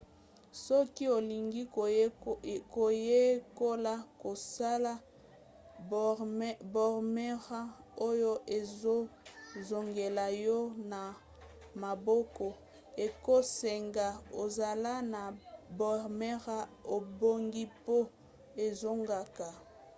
soki olingi koyekola kosala boomerang oyo ezozongela yo na maboko ekosenga ozala na boomerang ebongi mpo ezongaka